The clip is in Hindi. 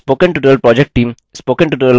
spoken tutorial project team